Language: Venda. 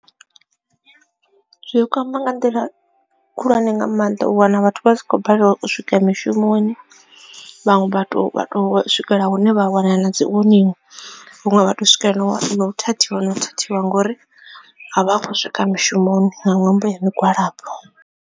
Zwi kwama nga nḓila khulwane nga maanḓa u wana vhathu vha si khou balelwa u swika mishumoni vhaṅwe vhathu vha to swikela hune vha a wana na dzi warning vhaṅwe vha to swikelela na u thathiwa na u thathiwa ngori a vha a khou swika mushumoni nga ṅwambo ya migwalabo.